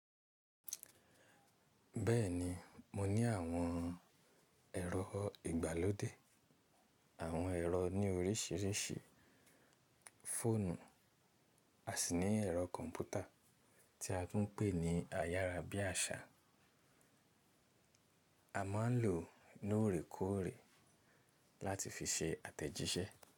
Bẹ́ẹ̀ni mo ní àwọn ẹ̀rọ ìgbàlódé, àwọn ẹ̀rọ ní oríṣìíríṣìí, fóònù, à sì ní ẹ̀rọ kọ̀m̀pútà tí a tún pè ní ayárábiàsà. A máa ń lò ó lóore kóòrè láti fi ṣe àtẹ̀jíṣẹ́.